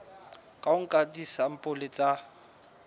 ka ho nka disampole tsa